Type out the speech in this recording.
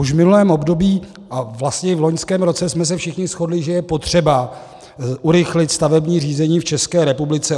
Už v minulém období a vlastně i v loňském roce jsme se všichni shodli, že je potřeba urychlit stavební řízení v České republice.